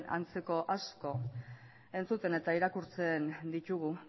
antzeko asko entzuten eta irakurtzen ditugu